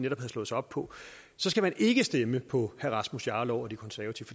netop havde slået sig op på så skal man ikke stemme på herre rasmus jarlov og de konservative